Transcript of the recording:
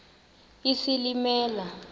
isilimela